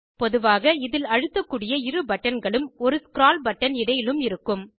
பொதுவாக இதில் அழுத்தக்கூடிய இரு பட்டன்களும் ஒரு ஸ்க்ரால் பட்டன் இடையிலும் இருக்கும்